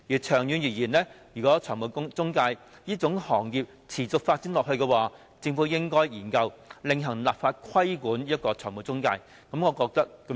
長遠而言，如果財務中介這行業持續發展下去，政府應該研究另行立法規管中介公司。